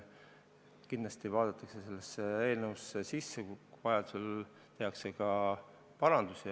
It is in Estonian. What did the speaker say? Kindlasti vaadatakse sellesse eelnõusse sisse, vajaduse korral tehakse ka parandusi.